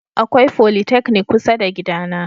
Akwai folytechnic kusa da gidana.